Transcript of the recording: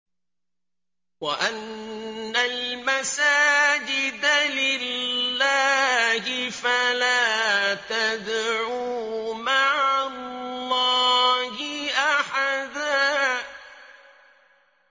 وَأَنَّ الْمَسَاجِدَ لِلَّهِ فَلَا تَدْعُوا مَعَ اللَّهِ أَحَدًا